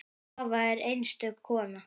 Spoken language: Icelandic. Svava er einstök kona.